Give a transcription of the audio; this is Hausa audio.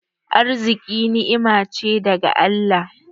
Arziƙi ni'ima ce daga Allah.